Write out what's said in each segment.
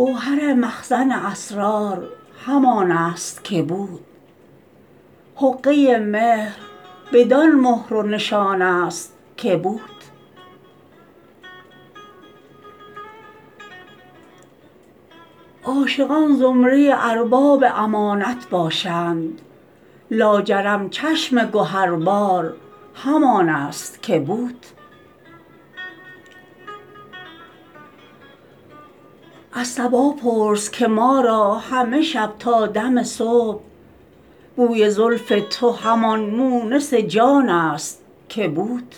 گوهر مخزن اسرار همان است که بود حقه مهر بدان مهر و نشان است که بود عاشقان زمره ارباب امانت باشند لاجرم چشم گهربار همان است که بود از صبا پرس که ما را همه شب تا دم صبح بوی زلف تو همان مونس جان است که بود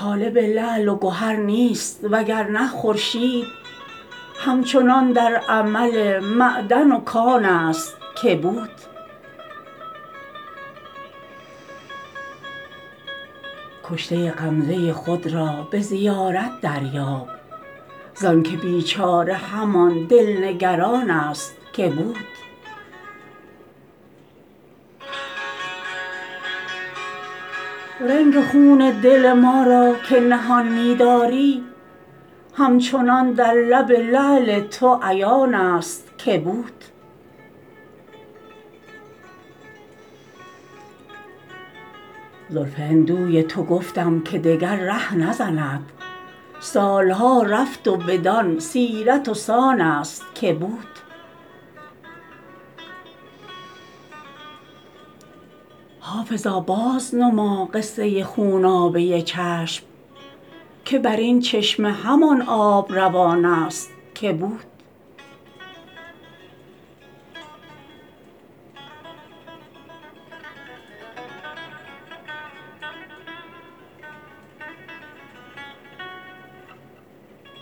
طالب لعل و گهر نیست وگرنه خورشید هم چنان در عمل معدن و کان است که بود کشته غمزه خود را به زیارت دریاب زانکه بیچاره همان دل نگران است که بود رنگ خون دل ما را که نهان می داری همچنان در لب لعل تو عیان است که بود زلف هندوی تو گفتم که دگر ره نزند سال ها رفت و بدان سیرت و سان است که بود حافظا بازنما قصه خونابه چشم که بر این چشمه همان آب روان است که بود